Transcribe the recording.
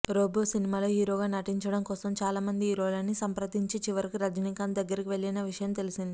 రోబోసినిమాలో హీరోగా నటించడం కోసం చాలామంది హీరోలని సంప్రదించి చివరకు రజనీకాంత్ దగ్గరకు వెళ్ళిన విషయం తెలిసిందే